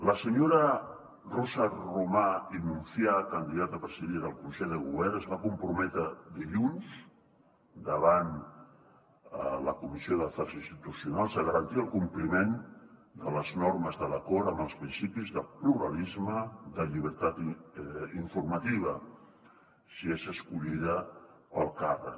la senyora rosa romà i monfà candidata a presidir el consell de govern es va comprometre dilluns davant la comissió d’afers institucionals a garantir el compliment de les normes de l’acord amb els principis de pluralisme de llibertat informativa si és escollida per al càrrec